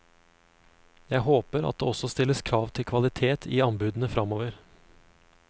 Jeg håper at det også stilles krav til kvalitet i anbudene fremover.